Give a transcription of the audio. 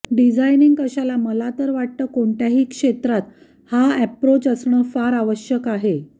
designing कशाला मला तर वाटतं कोणत्याही क्षेत्रात हा अॅप्रोच असणं फार आवश्यक आहे